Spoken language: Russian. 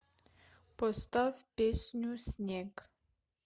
поставь песню снег